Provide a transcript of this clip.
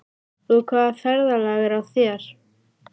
Og hvaða ferðalag er á þér?